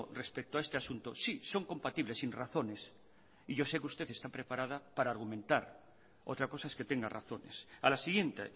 respecto a este asunto sí son compatibles sin razones y yo sé que usted está preparada para argumentar otra cosa es que tenga razones a la siguiente